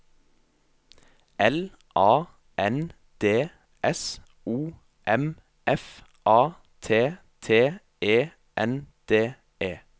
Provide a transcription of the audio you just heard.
L A N D S O M F A T T E N D E